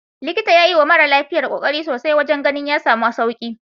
Likitan ya yiwa mara lafiyar kokari sosai wajen ganin ya samu sauki.